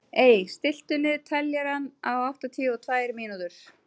Ey, stilltu niðurteljara á áttatíu og tvær mínútur.